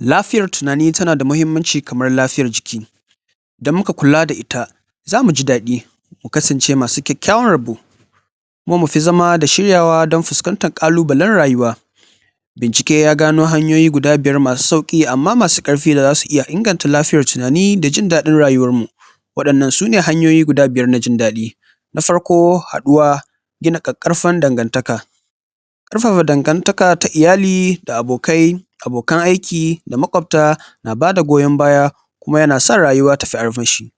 lafiyar tunani tana da muhimmanci kamar lafiyar jiki indan muka kula da ita zamu ji dadi mu kasance masu babban rabo kuma mifi zama da shiryawa don fiskantar ƙalubalen rayuwa bincike ya gano hanyoyi guda biyar masu sauki amma masu ƙarfi da su iya inganta lafiyar tunani da jindadin rayuwar mu wadanna sune hanyoyi guda biyar na jindadi na farko haduwa gina ƙarfafan dangantaka ƙarfafa dangantaka ta iayali da abokai abokan aiki da maƙobta na bada goyon baya kuma yana sa rayuwa tayi armashi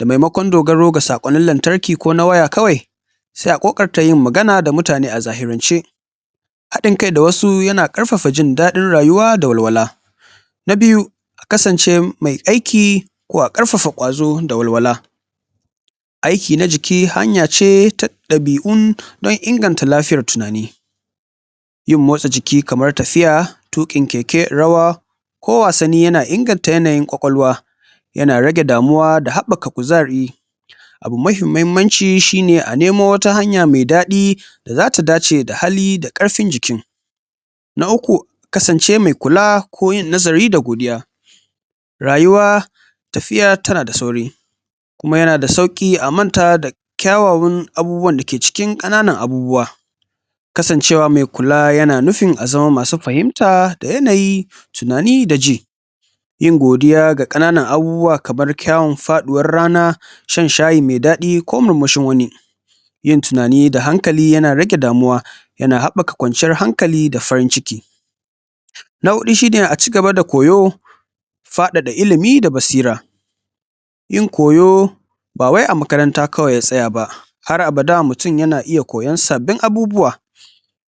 a maimakon dogaro da sakonin lantarki ko nawaya kawai sai a kokatar yin magana da mutane a zahirance hadin kai da wasu yana ƙarfafa jindadi da walwala na biyu kasance mai aiki ko a ƙarfafa ƙwazo da walwala aiki na jiki hanyace tadabi'u don inganta lafiyar tunani yin motsa jiki kamar tafiya tikin keke rawa ko wassani yana inganta ƙwaƙwalwa yana rage damuwa da habbaka kuzari abu mafi muhimmanci a nemo wata hanya mai dadi da zata dace da hali da ƙarfin jikin na uku kasance kula ko yin nazari da godiya rayuwa tafiyar tana sauri kuma yana sauri a manta kyawawan abubuwan ƙananan abubuwa kasan ce wa mai kula yana nufin azama masu fahimta da yanayi tunani da ji yin godiya da kananan abubuwa kamar kyaun faduwan rana shan sahiyi mai dadi ko murmushin wani yin tunanin da hankali rage damuwa yana habbaka kwanciyar hankali da farin ciki na hudu shine koyo fadada ilimi da basira yin koyo wa wai a kamaranta kawai har abada mutumkoyan sabbin abubuwa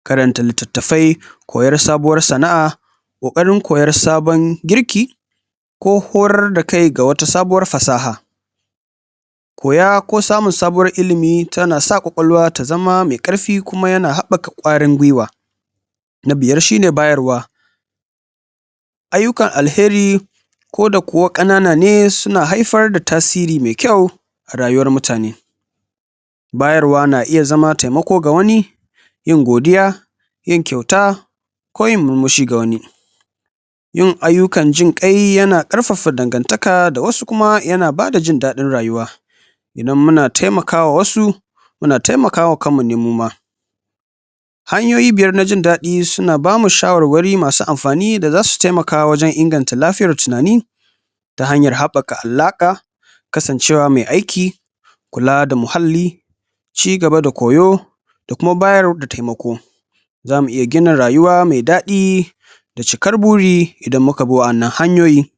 karanta litatafai koyar sabuwar sana'a ƙokarin koyan sabon sana'a ko horaras da kai sabon fasaha koya ko samun sabon ilimi tana sa ƙwaƙwalwa ta zama mai ƙarfi kuma yana habaka ƙwarinin gwuiwa na biyar shine bayarwa ayyukan alkhairi ko da kuwa kanana ne suna haifar da tasiri maikyau a rayuwar mutane bayar wa na iya zama temako ga wani yin godiya yin kyauta ko yin murmushi ga wani yin ayyukan jin ƙai yana ƙarfafa dangantaka wasu kuma yana bada jindadin rayuwa idan muna temaka wasu muna temakawa kanmu ne muma hanyoyi biyar na jindadi suna bamu shawarwari masu amfani da su temaka wajen inganta lafiyar tunani ta janyar habbaka alaƙa kasancewa mai aiki kula da muhalli ci gaba da koyo da kuma bayar da temako zamu iya gina rayuwa mai dadi da cikar buri idan muka bi wannan hanyoyi